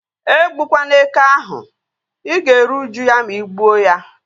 E gbukwana eke ahụ! Ị ga-eri uju ya ma ị gbuo ya